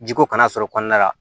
Jiko kana sɔrɔ kɔnɔna la